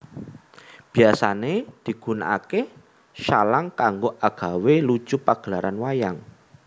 Biasané digunakaké shalang kanggo agawé lucu pagelaran wayang